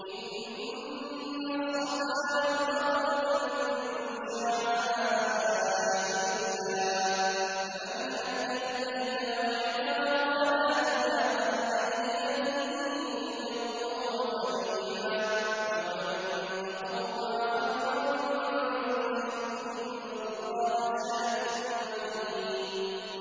۞ إِنَّ الصَّفَا وَالْمَرْوَةَ مِن شَعَائِرِ اللَّهِ ۖ فَمَنْ حَجَّ الْبَيْتَ أَوِ اعْتَمَرَ فَلَا جُنَاحَ عَلَيْهِ أَن يَطَّوَّفَ بِهِمَا ۚ وَمَن تَطَوَّعَ خَيْرًا فَإِنَّ اللَّهَ شَاكِرٌ عَلِيمٌ